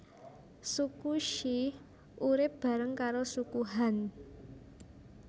Suku She urip bareng karo Suku Han